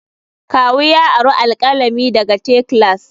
Kawu ya ari alkalami daga te class.